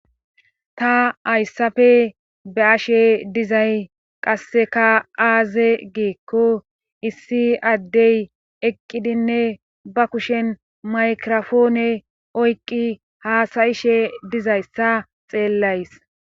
Ta hayssafe ba ashe dizay qasseka aaze geekko issi addey eqqidinne ba kushen maykirofoone oyqqi haasayishe dizayssa xeellays.